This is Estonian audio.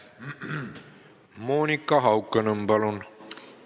Monika Haukanõmm, palun!